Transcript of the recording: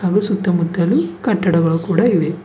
ಹಾಗೂ ಸುತ್ತಮುತ್ತಲು ಕಟ್ಟಡಗಳು ಕೂಡ ಇವೆ.